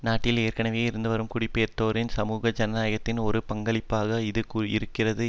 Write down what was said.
நாட்டில் ஏற்கனவே இருந்துவரும் குடிபெயர்ந்தோரின் சமூக ஐக்கியத்திற்கான ஒரு பங்களிப்பாக இது இருக்கிறது